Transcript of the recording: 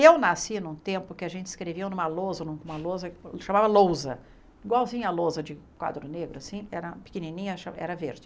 Eu nasci num tempo que a gente escrevia numa lousa numa lousa, chamava lousa, igualzinha a lousa de quadro negro assim, pequenininha, era verde.